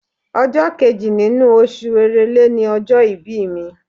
Ọjọ́ kejì nínú oṣù Èrèlé ni ọjọ́ ìbí mi.